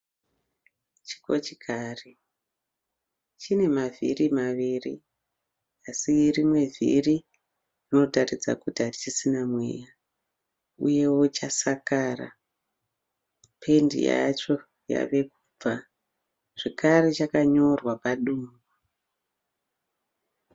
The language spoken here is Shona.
Chikochikari chine mavhiri maviri asi rimwe vhiri rinotaridza kuri harichisina mweya uyewo chasakara. Pendi yacho yave kubva zvekare chakanyorwa padumbu.